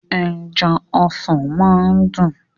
Ẹja ọsàn máa ń dún.